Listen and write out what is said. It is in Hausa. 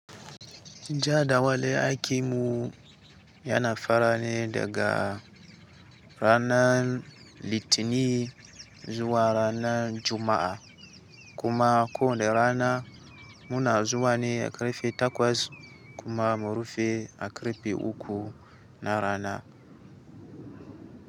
Ja da wale aiki mu yana farane daga rana Litinin zuwa ranar Juma’a, kuma ko wane rana muna zuwa ne a karfe takwas kuma mu rufe a karfe uku na rana.